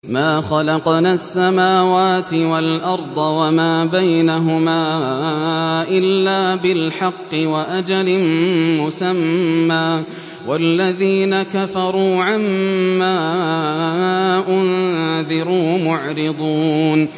مَا خَلَقْنَا السَّمَاوَاتِ وَالْأَرْضَ وَمَا بَيْنَهُمَا إِلَّا بِالْحَقِّ وَأَجَلٍ مُّسَمًّى ۚ وَالَّذِينَ كَفَرُوا عَمَّا أُنذِرُوا مُعْرِضُونَ